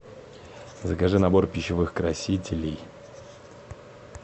закажи набор пищевых красителей